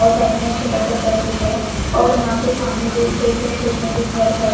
और साइड में एक छोटा सा घर भी है और यहाँ पे सामने दो खेत है खेत में भी घर है।